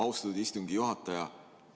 Austatud istungi juhataja!